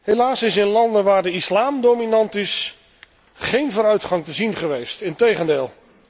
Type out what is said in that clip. Helaas is in landen waar de islam dominant, is geen vooruitgang te zien geweest, integendeel.